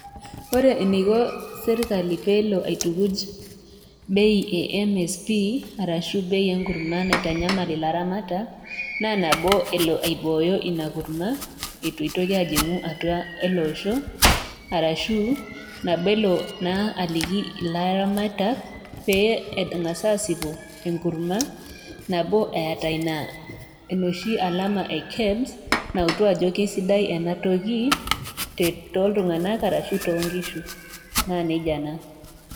Ore eneiko sirkali peelo aitukuj bei e MSP arashu bei enkurma naitanyamal ilaramatak naa nabo elo aibooyo ina kurma eitu eitoki ajing'u atua ele osho arashu nabo elo naa aliki ilaramatak pee eng'as asipu enkurma nabo eeta ina enoshi alama e KEBS nautu ajo keisidai enatoki te toltung'anak arashu tonkishu naa nejia naa.